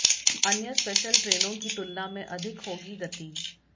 अन्य स्पेशल ट्रेनों की तुलना में अधिक होगी गति